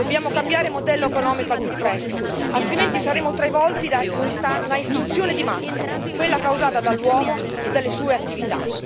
Dobbiamo cambiare modello economico al più presto, altrimenti saremo travolti da una estinzione di massa, quella causata dall'uomo e dalle sue attività.